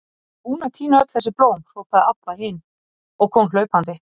Ég er búin að tína öll þessi blóm, hrópaði Abba hin og kom hlaupandi.